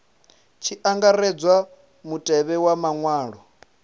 tshi angaredzwa mutevhe wa maṅwalwa